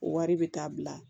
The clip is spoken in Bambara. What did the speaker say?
O wari bɛ taa bila